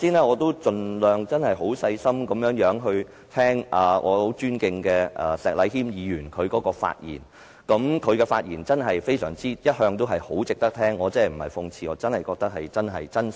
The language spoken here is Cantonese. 我剛才盡量很細心聆聽我很尊敬的石禮謙議員的發言，他的發言一向都很值得聆聽，我真的不是諷刺，而是真心的。